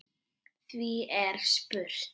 Því er spurt: